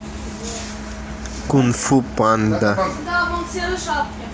кунг фу панда